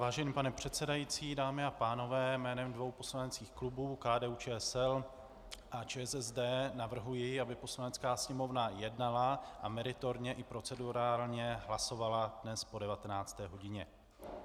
Vážený pane předsedající, dámy a pánové, jménem dvou poslaneckých klubů, KDU-ČSL a ČSSD, navrhuji, aby Poslanecká sněmovna jednala a meritorně i procedurálně hlasovala dnes po 19. hodině.